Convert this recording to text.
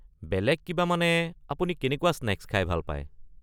বেলেগ কিবা মানে আপুনি কেনেকুৱা স্নেক্স খাই ভাল পায়?